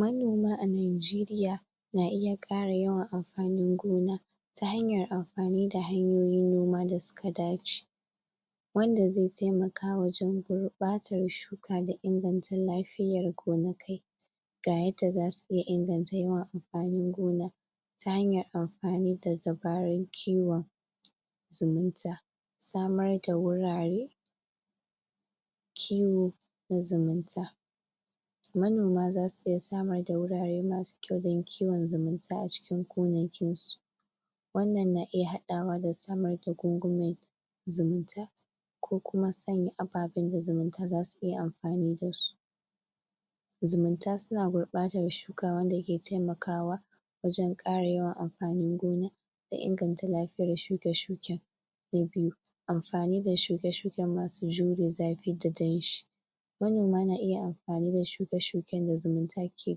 manoma a nijeriya na iya ƙara yawan amfanin gona ta hanyar amfani da hanyoyin noma da suka dace wanda zai taimaka wajen gurɓatar shuka da inganta lafiyar gonakai ga yadda zasu iya inganta yawan amfanin gona ta hanyar amfani da dabarar kiwon zumunta. samar da wurare kiwo na zumunta. manoma zasu iya samar da wurare masu kyau don kiwon zumunta a cikin gonakin su wannan na iya haɗawa da samar da gungume zumunta ko kuma sanya ababan da zumunta zasu iya amfani dasu zumunta suna gurɓatar shuka wanda ke taimakawa wajen ƙara yawan amfanin gona da inganta lafiyar shuke-shuken. na biyu amfani da shuke-shuken masu jure zafi da danshi manoma na iya amfani da shuke-shuken da zumunta ke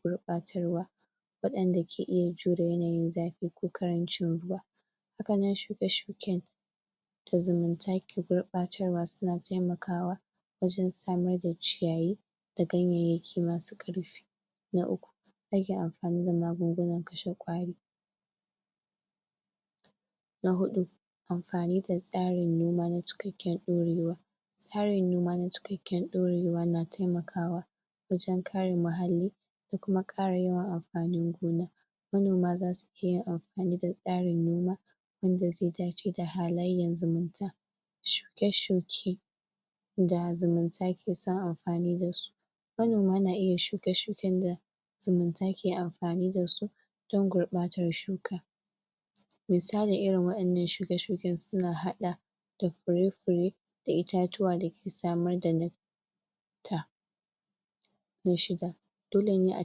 gurɓatar wa waɗanda ke iya jure yanayin zafi ko ƙarancin ruwa hakanan shuke-shuken da zumunta ke gurɓatarwa suna taimakawa wajen samar da ciyayi da ganyayyaki masu ƙarfi na uku rage amfani da magungunan kashe ƙwari na huɗu amfani da tsarin noma na cikakken ɗorewa tsarin noma na cikakken ɗorewa na taimakawa wajen kare muhalli da kuma ƙara yawan amfanin gona. manoma zasu iya yin amfani da tsarin noma wanda zai dace da halayyan zumunta shuke-shuke da zumunta keson amfani dasu manoma na iya shuke-shuken da zumunta ke amfani dasu don gurɓatar shuka misali irin wa'innan shuke-shuken suna haɗa da fure-fure da itatuwa dake samar da na shida dolene a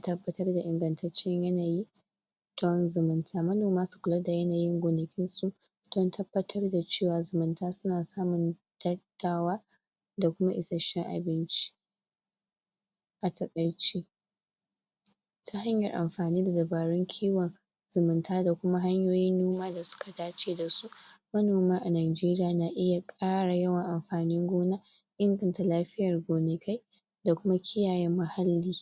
tabbatar da ingantaccen yanayi don zumunta manoma su kula yanayin gonakin su don tabbatar da cewa zumunta suna samun da kuma isasshen abinci. a taƙaice. ta hanyar amfani da dabarun kiwon zumunta da kuma hanyoyin noma da suka dace da su manoma a nijeriya na iya ƙara yawan amfanin gona inganta lafiyar gonakai da kuma kiyaye muhalli.